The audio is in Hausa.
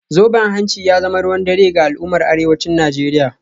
Zoben hanci ya zama ruwan dare ga al’ummar arewacin Najeriya